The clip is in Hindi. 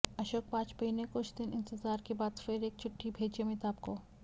अशोक वाजपेयी ने कुछ दिन इंतज़ार के बाद फिर एक चिट्ठी भेजी अमिताभ को